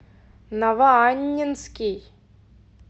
новоаннинский